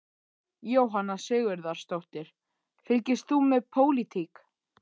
Jóhanna Sigurðardóttir: Fylgist þú með pólitík?